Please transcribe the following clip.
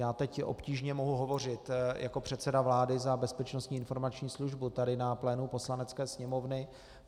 Já teď obtížně mohu hovořit jako předseda vlády za Bezpečnostní informační službu tady na plénu Poslanecké sněmovny.